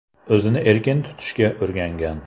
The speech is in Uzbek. O‘zini erkin tutishga o‘rgangan.